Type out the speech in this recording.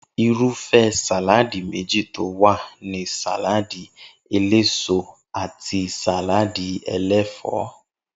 Irúfé̩ sàláadì méjì tí ó wà ni sàláàdì eléso àti sàláàdi e̩lé̩fò̩ó̩